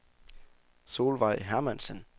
Solvejg Hermansen